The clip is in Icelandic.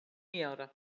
Níu ára!